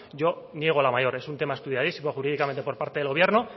yo niego la mayor es un tema estudiadísimo jurídicamente por parte del gobierno